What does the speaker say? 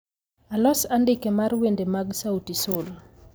Alos andike mar wende mag sauti sol